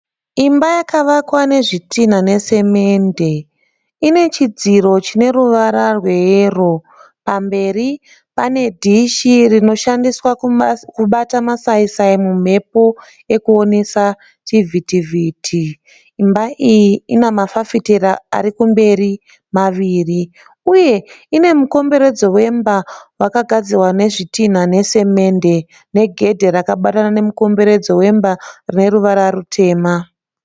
Imba yakavakwa nezvitinha nesemende ine chidziro chine ruvara rweyero pamberi pane dhishi rinoshandiswa kubata masaisai mumhepo ekuonesa chivhitivhiti, imba iyi ina mafafitera ari kumberi maviri uye ine mukomberedzo wemba wakagadzirwa nezvitinha nesemende negedhe rakabatana nemukomberedzo wemba re ruvara rutema.